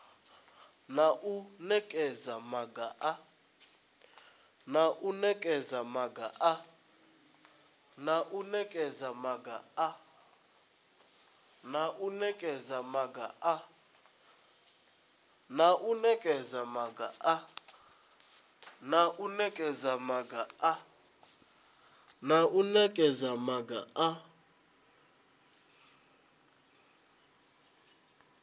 na u nekedza maga a